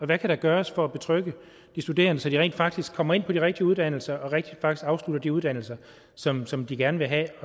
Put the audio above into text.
der kan gøres for at betrygge de studerende så de rent faktisk kommer ind på de rigtige uddannelser og afslutter de uddannelser som som de gerne vil have